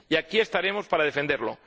Y aquí estaremos para defenderlo.